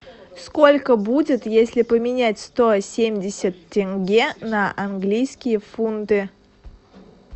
сколько будет если поменять сто семьдесят тенге на английские фунты